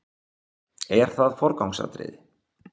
Er það forgangsatriði?